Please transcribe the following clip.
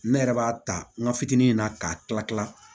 Ne yɛrɛ b'a ta n ka fitinin na k'a tila kila